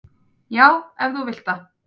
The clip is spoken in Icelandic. """Já, ef þú vilt það."""